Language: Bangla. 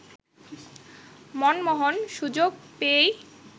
মনমোহন সুযোগ পেয়েই